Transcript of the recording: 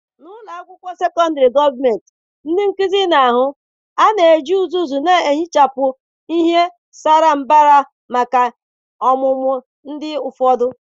N'ụlọ akwụkwọ sekọndrị gọọmentị, ndị nkuzi na-ahụ A na-eji uzuzu na-ehichapụ ihe sara mbara maka ihe ọmụmụ ndị ụfọdụ.